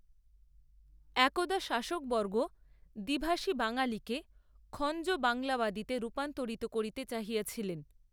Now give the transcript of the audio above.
একদা শাসকবর্গ দ্বিভাষী বাঙালিকে, খঞ্জ বাংলাবাদীতে রূপান্তরিত করিতে চাহিয়াছিলেন